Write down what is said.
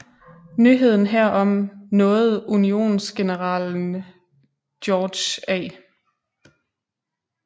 Nyheden herom nåede unionsgeneralen George A